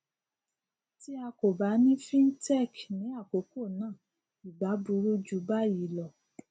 tí a kò bá ní cs] fintech ní àkókò náà ì bá burú jù báyìí lọ